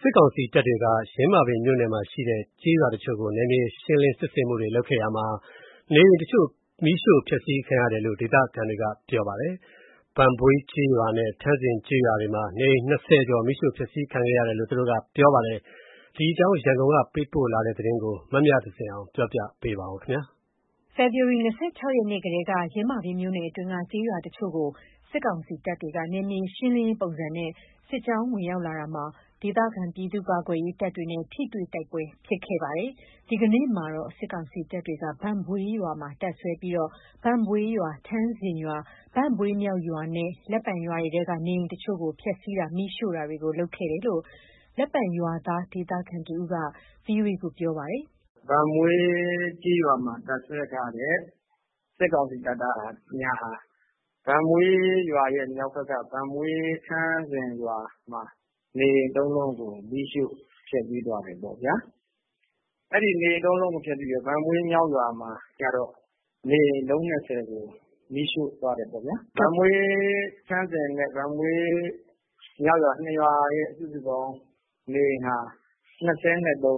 စစ်ကောင်စီတပ်တွေက ယင်းမာပင်မြို့နယ်မှာရှိတဲ့ ကျေးရွာတချို့ကို နယ်မြေရှင်းလင်းစစ်ဆင်မှုတွေလုပ်ခဲ့ရာမှာ နေအိမ်တချို့မီးရှို့ဖျက်ဆီးခံရတယ်လို့ ဒေသခံတွေက ပြောပါတယ်။ ဘန့်ဘွေးကျေးရွာနဲ့ ထန်းဇင်ကျေးရွာတွေမှာ နေအိမ် ၂၀ ကျော် မီးရှို့ဖျက်ဆီးခဲ့ကြတယ်လို့ ဒေသခံတွေက ပြောတာပါ။ ဒီအကြောင်း ရန်ကုန်က ပေးပို့တဲ့သတင်းကို မမြသဇင်အောင်က တင်ပြပေးထားပါတယ်။ ဖေဖော်ဝါရီ ၂၆ ရက်နေ့ကတည်းက ယင်းမာပင်မြို့နယ်အတွင်းက ကျေးရွာတချို့ကို စစ်ကောင်စီတပ်တွေက နယ်မြေရှင်းလင်းရေးပုံစံနဲ့ စစ်ကြောင်းဝင်ရောက်လာရာမှာ၊ ဒေသခံ ပြည်သူ့ကာကွယ်ရေးတပ်တွေနဲ့ ထိတွေတိုက်ပွဲ ဖြစ်ခဲ့ပါတယ်။ ဒီကနေ့မှာတော့ စစ်ကောင်စီတပ်တွေက ဘန့်ဘွေးရွာမှာ တပ်စွဲပြီး ဘန့်ဘွေးရွာ၊ ထန်းဇင်ရွာ၊ ဘန့်ဘွေးမြောက်ရွာနဲ့ လက်ပံရွာတွေထဲက နေအိမ်တချို့ကို ဖျက်ဆီးတာ၊ မီးရှို့တာတွေ လုပ်ခဲ့ကြတယ်လို့ လက်ပံရွာဒေသခံတဦးက VOA ကို ပြောပြပါတယ်။ “ဘန့်ဘွေးကျေးရွာမှာ တပ်စွဲထားတဲ့ စစ်ကောင်စီတပ်သားတွေဟာ ဘန့်ဘွေးရွာရဲ့ မြောက်ဘက်က ဘန့်ဘွေးထန်းဇင်ရွာမှာ နေအိမ် ၃ လုံးကို မီးရှို့ဖျက်ဆီးသွားတယ်ပေါ့ဗျာ။ ဘန့်ဘွေးမြောက်ရွာမှာကျတော့ နေအိမ် အလုံး ၂၀ ကို မီးရှို့သွားတယ်ပေါ့ဗျာ။ ဘန့်ဘွေးထန်းဇင်နဲ့ ဘန့်ဘွေးမြောက်ရွာ နှစ်ရွာ စုစုပေါင်း နေအိမ်ဟာ ၂၃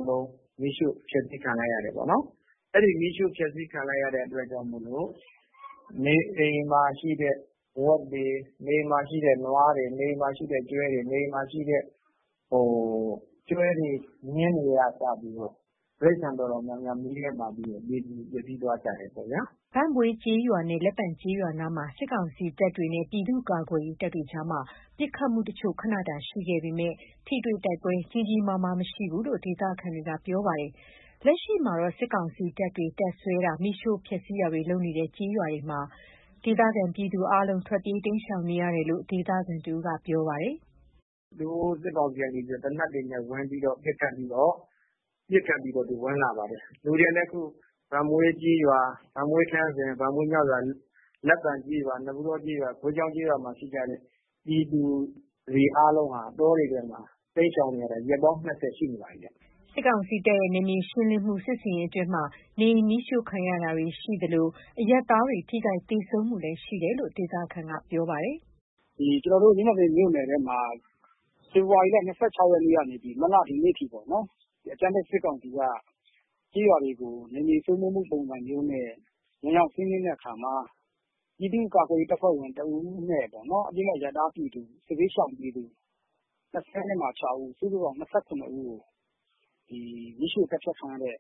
လုံး မီးရှို့ဖျက်ဆီးခံလိုက်ရတယ်ပေါ့ဗျာ။ အဲ့လိုမီးရှို့ဖျက်ဆီးခံလိုက်ရတာ ကြောင့် မို့လို့ နေအိမ်မှာရှိတဲ့ ဝက်တွေ နွားတွေ ကျွဲတွေ မြင်းတွေက စပြီးတော့ တိရစ္ဆာန်တော်တော် များများ မီးထဲပါပြီး သေသွားကြတယ်ပေါ့ဗျာ။” ဘန့်ဘွေးကျေးရွာနဲ့ လက်ပံကျေးရွာနားမှာ စစ်ကောင်စီတပ်တွေနဲ့ ပြည်သူ့ကာကွယ်ရေးတပ်တွေကြား ပစ်ခတ်မှုတချို့ ခဏတာ ရှိခဲ့ပေမယ့် ထိတွေ့တိုက်ပွဲ ကြီးကြီးမားမား မရှိခဲ့ဘူးလို့ ဒေသခံတွေက ပြောပါတယ်။ လက်ရှိမှာ စစ်ကောင်စီတပ်တွေ တပ်စွဲတာ မီးရှို့ဖျက်ဆီးတာတွေလုပ်နေတဲ့ ကျေးရွာတွေမှာ ဒေသခံပြည်သူတွေ အားလုံး ထွက်ပြေးတိမ်းရှောင်နေကြရတယ်လို့ ဒေသခံတဦးက ပြောပြပါတယ်။ “သူတို့စစ်ကောင်စီက သေနတ်တွေနဲ့ ဝင်ပြီးတော့ ပစ်ခတ်ပြီးတော့ ဝင်လာပါတယ်။ လူတွေကလည်း အခု လူတွေကလည်း အခု ဘန့်ဘွေးကျေးရွာ၊ ဘန့်ဘွေးထန်းဇင်၊ ဘန့်ဘွေးမြောက်ရွာ၊ လက်ပံကျေးရွာ နပုတော ကျေးရွာ ဂွေးချောင်းကျေးရွာမှာ ရှိကြတဲ့ ပြည်သူတွေအားလုံးဟာ တောတွေထဲမှာ တိမ်းရှောင်နေကြရတာ ရက်ပေါင်း ၂၀ ရှိနေပါပြီဗျ။” စစ်ကောင်စီတပ်ရဲ့ နယ်မြေရှင်းလင်းမှုစစ်ဆင်ရေးအတွင်း နေအိမ်မီးရှို့ခံရတာတွေရှိသလို အရပ်သားတွေ ထိခိုက်သေဆုံးမှုလည်းရှိနေတယ်လို့ ဒေသခံက ပြောပါတယ်။ “ဒီကျနော်တို့ ယင်းမာပင်မြို့နယ်ထဲမှာ ဖေဖော်ဝါရီလ ၂၆ ရက်နေ့ကနေ ဒီကနေ့အထိ အကြမ်းဖက် စစ်ကောင်စီက ကျေးရွာတွေကို နယ်မြေစိုးမိုးမှုအတွက် ဝင်ရောက်စီးနင်းတဲ့အခါမှာ ပြည်သူ့ကာကွယ်ရေးတပ်ဖွဲ့ဝင်တဦးနဲ့ စစ်ဘေးရှောင် အပြစ်မဲ့အရပ်သားပြည်သူ ၂၆ ဦး စုစုပေါင်း ၂၇ ဦးကို မီးရှို့သတ်ဖြတ်ခံရတဲ့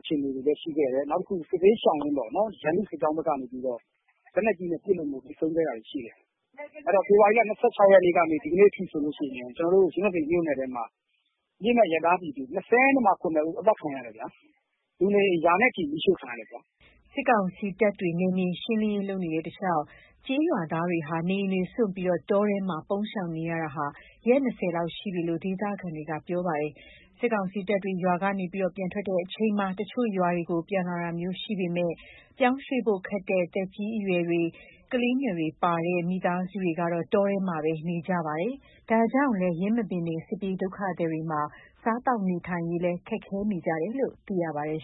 အခြေအနေတွေလည်း ရှိခဲ့တယ်။ နောက် စစ်ဘေးရှောင်ရင်း စစ်ကောင်စီဘက်က လက်နက်ကြီးတွေနဲ့ ပစ်လို့မို့ ထိပြီး သေဆုံးခဲ့တာတွေလည်း ရှိတယ်။ အဲ့တော့ ဖေဖော်ဝါရီလ ၂၆ ရက်နေ့ကနေ ဒီကနေ့ထိဆိုလို့ရှိရင် ယင်းမာပင်မြို့နယ်ထဲမှာ အပြစ်မဲ့ ပြည်သူ ၂၇ ဦးသတ်ခံရတယ်ဗျာ။ လူနေအိမ် ရာနဲ့ ချီမီးရှို့ခံရတယ်ဗျာ။” စစ်ကောင်စီတပ်တွေ နယ်မြေရှင်းလင်းရေး လုပ်နေတဲ့ တလျှောက်ကျေးရွာသားတွေဟာ နေအိမ်တွေစွန့်ပြီး တောထဲမှာ ပုန်းရှောင်နေရတာလည်း ရက်၂၀ လောက်ရှိပြီလို့ ဒေသခံတွေပြောပါတယ်။ စစ်ကောင်စီတပ်တွေ ရွာကပြန်ထွက်ချိန်မှာ တချို့ရွာကို ပြန်လာတာမျိုးရှိပေမယ့်၊ ပြောင်းရွေ့ဖို့ခက်တဲ့ သက်ကြီးအရွယ်တွေ ကလေးငယ်တွေပါတဲ့ မိသားစုတွေကတော့ တောထဲမှာပဲ နေကြရပါတယ်။ ဒါကြောင့်လည်း ယင်းမာပင်နယ် စစ်ပြေးဒုက္ခသည်တွေမှာ စားသောက်နေထိုင်ရေးလည်း ခက်ခဲနေကြတယ်လို့ သိရပါတယ်